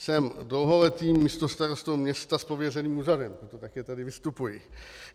Jsem dlouholetým místostarostou města s pověřeným úřadem, proto také tady vystupuji.